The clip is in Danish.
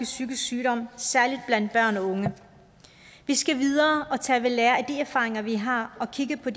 psykisk sygdom særlig blandt børn og unge vi skal videre og tage ved lære af de erfaringer vi har og kigge på